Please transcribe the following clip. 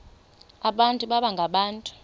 abantu baba ngabantu